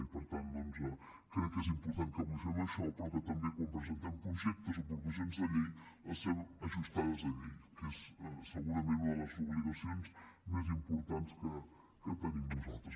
i per tant doncs crec que és important que avui fem això però que també quan presentem projectes o proposicions de llei les fem ajustades a llei que és segurament una de les obligacions més importants que tenim nosaltres